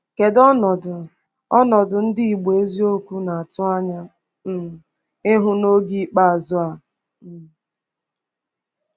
Kedu ọnọdụ ọnọdụ ndị Igbo eziokwu na-atụ anya um ịhụ n’oge “ikpeazụ” a? um